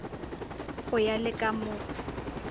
go ya le ka mo